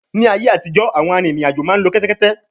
Ní ayé àtijọ́, àwọn arìnrìn-àjò máa ń lo kẹ́tẹ́kétẹ́